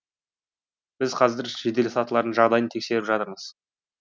біз қазір жеделсатылардың жағдайын тексеріп жатырмыз